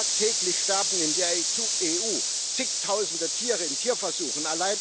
Tagtäglich sterben in der EU zigtausende Tiere in Tierversuchen